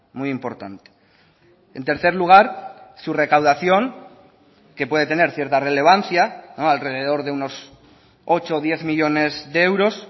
muy importante en tercer lugar su recaudación que puede tener cierta relevancia alrededor de unos ocho o diez millónes de euros